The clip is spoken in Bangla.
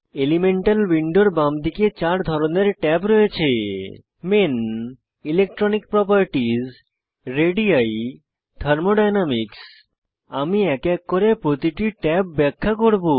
এলিমেন্টাল উইন্ডোর বামদিকে চার ধরনের ট্যাব রয়েছে main electronic properties ready thermodynamics আমি এক এক করে প্রতিটি ট্যাব ব্যাখ্যা করব